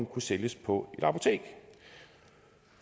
kunne sælges på et apotek